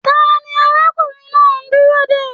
Taní arákùnrin náà n dúró dé?